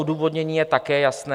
Odůvodnění je také jasné.